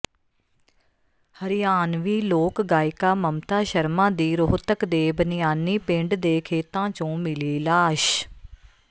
ਹਰਿਆਣਵੀਂ ਲੋਕ ਗਾਇਕਾ ਮਮਤਾ ਸ਼ਰਮਾ ਦੀ ਰੋਹਤਕ ਦੇ ਬਨਿਆਨੀ ਪਿੰਡ ਦੇ ਖੇਤਾਂ ਚੋਂ ਮਿਲੀ ਲਾਸ਼